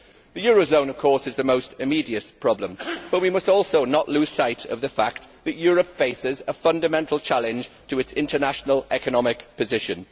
The eurozone is the most immediate problem, but we must also not lose sight of the fact that Europe faces a fundamental challenge to its international economic position.